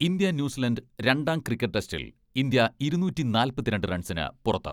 India New Zealand രണ്ടാം cricket ടെസ്റ്റിൽ India ഇരുനൂറ്റി നാല്പത്തിരണ്ട് റൺസിന് പുറത്ത്.